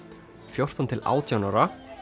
fjórtán til átján ára